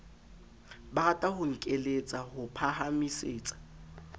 barata ho nkeletsa ho phahamisetsa